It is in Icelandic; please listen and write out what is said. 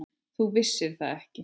Þú vissir það ekki.